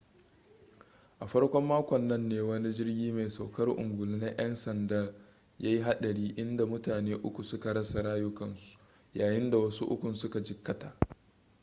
a farkon makon nan ne wani jirgi mai saukar ungulu na yan sanda ya yi hadari inda mutane uku suka rasa rayukansu yayinda wasu ukun su ka jikkata